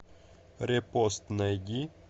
репост найди